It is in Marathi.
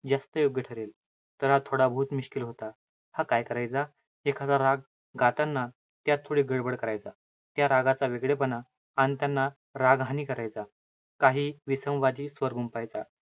जास्त योग्य ठरेल. तर हा थोडाबहुत मिश्किल होता. हा काय करायचा? एखादा राग गाताना, त्यात थोडी गडबड करायचा. त्या रागाचा वेगळेपणा अन त्यांना रागहानी करायचा. काही विसंवादी स्वर पाहायचा.